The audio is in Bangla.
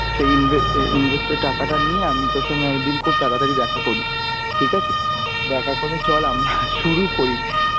সেই ইনভে~ invest এর টাকাটা নিয়ে আমি তোর সঙ্গে একদিন খুব তাড়াতাড়ি করি. ঠিক আছে? দেখা করে চল আমরা শুরু করি.